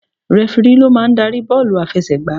Rẹfirí ló máa ń darí bọ́ọ̀lù àfẹsẹ̀ gbà.